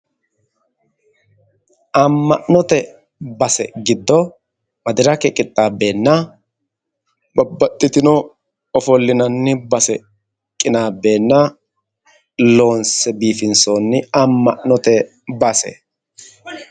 Amma'note base giddo madirake qixxaabbeenna babbaxxitino ofollinanni base qinaabbeenna loonse biifinsoonni amma'note base